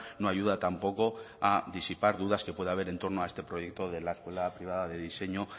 no ayuda tampoco a disipar dudas que puede haber entorno a este proyecto de la escuela privada de diseño